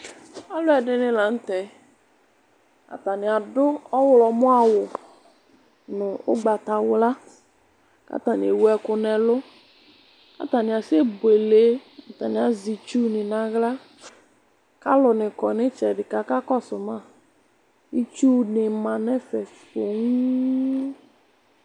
Alʋɛdɩnɩ la n'tɛ, atanɩ adʋ ɔɣlɔmɔ awʋ nʋ ʋgbatawla k'atanɩ ewu ɛkʋ n'ɛlʋ, k'atanɩ asɛbuele, atanɩ azɛ itsunɩ n'aɣla, k'alʋnɩ kɔ n'ɩtsɛdɩ k'aka kɔsʋ ma Itsunɩ ma n'ɛfɛ pooom